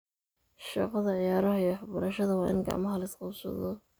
Shaqada ciyaaraha iyo waxbarashada waa in gacmaha la is qabsado.